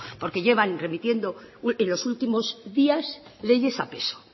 porque llevan remitiendo en los últimos días leyes a peso